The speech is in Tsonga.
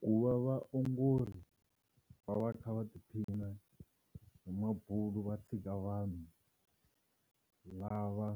Ku va vaongori va va kha va tiphina hi mabulo va tshika vanhu lava